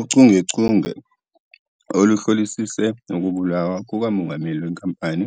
Uchungechunge, oluhlolisise ukubulawa kukamongameli wenkampani